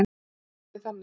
Einhvern veginn þannig.